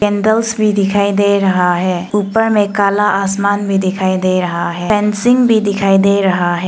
Candles भी दिखाई दे रहा है ऊपर में काला आसमान भी दिखाई दे रहा है फेंसिंग भी दिखाई दे रहा है।